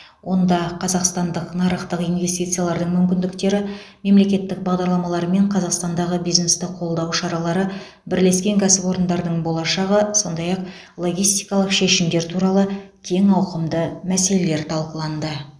онда қазақстандық нарықтың инвестициялық мүмкіндіктері мемлекеттік бағдарламалар мен қазақстандағы бизнесті қолдау шаралары бірлескен кәсіпорындардың болашағы сондай ақ логистикалық шешімдер туралы кең ауқымды мәселелер талқыланды